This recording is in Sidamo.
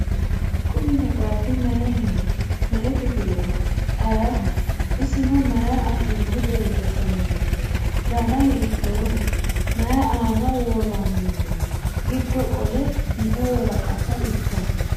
Kunni maxxaaffi mayiinniho? Me'e kiffilleho? Ayiiho isinno? Mayi affinni borreessamminno? Danna hiittoho? Mayi aanna woramminno? Giddo qoolla me'e woraqatta ikkanno?